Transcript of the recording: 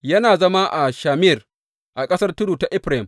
Yana zama a Shamir a ƙasar tudu ta Efraim.